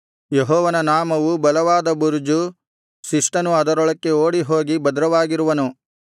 ಯೆಹೋವನ ನಾಮವು ಬಲವಾದ ಬುರುಜು ಶಿಷ್ಟನು ಅದರೊಳಕ್ಕೆ ಓಡಿಹೋಗಿ ಭದ್ರವಾಗಿರುವನು